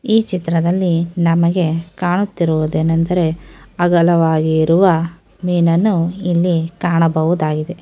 ಈ ಚಿತ್ರದಲ್ಲಿ ನಮಗೆ ಕಾಣುತಿರುವುದು ಏನೆಂದ್ರೆ ಅಗಲವಾಗಿರುವ ಮೀನನ್ನು ಇಲ್ಲಿ ಕಾಣಬಹುದಾಗಿದೆ.